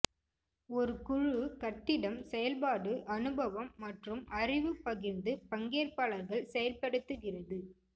ஒரு குழு கட்டிடம் செயல்பாடு அனுபவம் மற்றும் அறிவு பகிர்ந்து பங்கேற்பாளர்கள் செயல்படுத்துகிறது